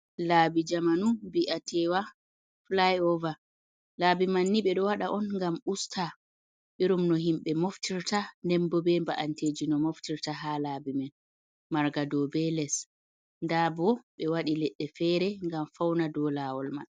Laabi jamanu mbi'a tewa fly over. Laabi manni ɓeɗo waɗa on ngam usta irin no himɓe moftirta nden bo be ba’amteji no moftirta. Ha laabi man marga dou be les nda bo ɓe waɗi leɗɗe fere ngam fauna dou lawol man.